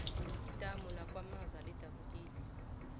idamu lakwamaza lidabukile